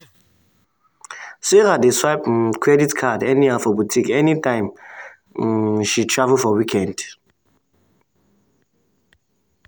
karen um divide her spend enter envelope with name so um she um fit track am well and no overspend.